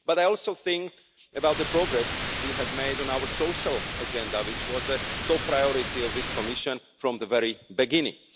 But I also think about the progress we have made on our Social Agenda, which was a top priority of this Commission from the very beginning.